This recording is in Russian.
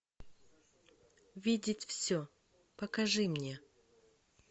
видеть все покажи мне